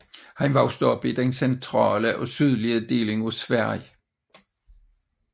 Han voksede op i den centrale og sydlige del af Sverige